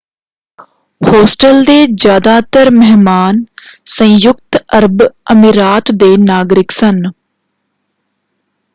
Hostel ਦੇ ਜ਼ਿਆਦਾਤਰ ਮਹਿਮਾਨ ਸੰਯੁਕਤ ਅਰਬ ਅਮੀਰਾਤ ਦੇ ਨਾਗਰਿਕ ਸਨ।